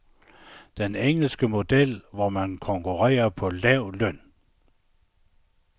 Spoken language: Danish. Den engelske model, hvor man konkurrerer på lav løn.